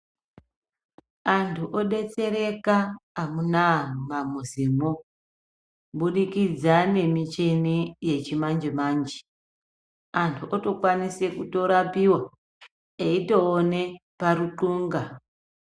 Antu odetsereka amunaa mumamuzimwo kubudikidza kubudikidza nemuchine yechimanje manje ,antu otokwanise kurapiwa eitoona paruxhunga.